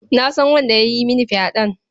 Na san wanda ya yi mini fyaɗen.